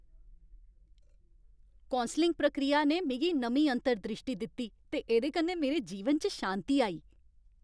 Counselling प्रक्रिया ने मिगी नमीं अंतर द्रिश्टी दित्ती ते एह्दे कन्नै मेरे जीवन च शांती आई।